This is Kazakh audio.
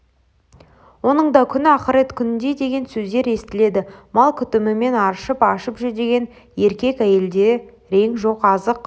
оның да күні ақырет күніндей деген сөздер естіледі мал күтімімен арып-ашып жүдеген еркек-әйелде рең жоқ азық